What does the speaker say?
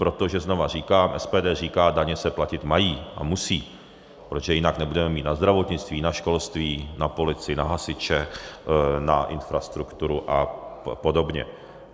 Protože znova říkám, SPD říká, daně se platit mají a musí, protože jinak nebudeme mít na zdravotnictví, na školství, na policii, na hasiče, na infrastrukturu a podobně.